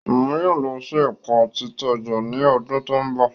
Oun yóò lọ si Ẹka Titaja ni ọdun to nbọ